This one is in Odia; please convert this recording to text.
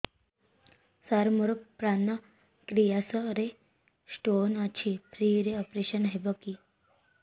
ସାର ମୋର ପାନକ୍ରିଆସ ରେ ସ୍ଟୋନ ଅଛି ଫ୍ରି ରେ ଅପେରସନ ହେବ କି